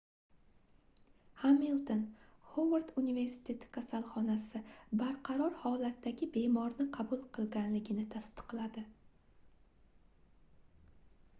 hamilton xovard universiteti kasalxonasi barqaror holatdagi bemorni qabul qilganligini tasdiqladi